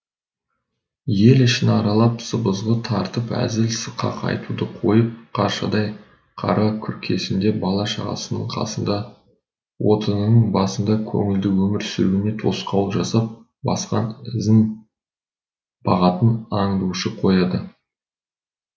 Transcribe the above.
ел ішін аралап сыбызғы тартып әзіл сықақ айтуды қойып қаршадай қара күркесінде бала шағасының қасында отынының басында көңілді өмір сүруіне тосқауыл жасап басқан ізін бағатын аңдушы қояды